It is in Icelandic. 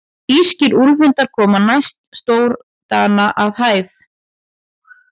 Írskir úlfhundar koma næst stórdana að hæð.